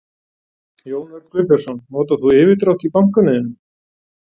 Jón Örn Guðbjartsson: Notar þú yfirdrátt í bankanum þínum?